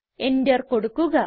enter കൊടുക്കുക